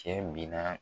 Cɛ bi na